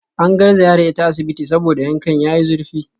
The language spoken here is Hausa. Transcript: An garzaya da ita asibiti saboda yankan yayi zurfi